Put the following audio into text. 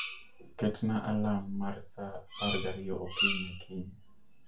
Ketna alam mar sa 12 okinyi kiny